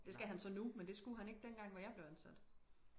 Det skal han så nu men det skulle han ikke dengang hvor jeg blev ansat